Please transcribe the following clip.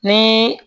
Ni